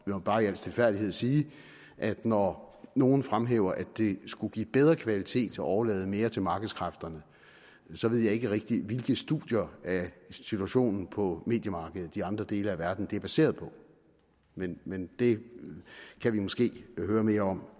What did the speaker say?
må bare i al stilfærdighed sige at når nogle fremhæver at det skulle give bedre kvalitet at overlade mere til markedskræfterne så ved jeg ikke rigtig hvilke studier af situationen på mediemarkedet i andre dele af verden det er baseret på men men det kan vi måske høre mere om